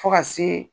Fo ka se